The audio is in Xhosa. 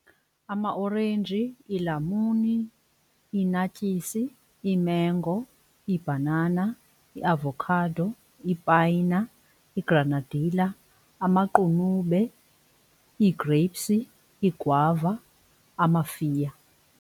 Amaorenji, iilamuni, ii-naartjies, iimengo, iibhanana, iavokhado, ipayina, igranadila, amaqunube, ii-grapes, iigwava, amafiya.